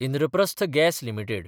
Indraprastha gas limited